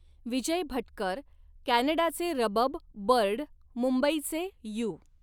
विजय भटकर, कॅनडाचे रबब बर्ड, मुंबईचे यू.